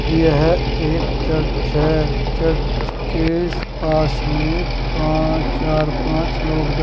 यह एक चर्च है। चर्च केस पास में पा चार पांच लोग बै --